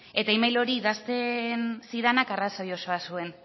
eta e mail hori idazten zidanak arrazoi osoa zuen